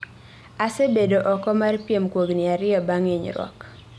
Asebedo oko mar piem kuom higni ariyo bang' inyruok